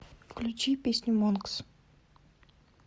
включи песню монкс